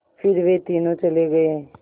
फिर वे तीनों चले गए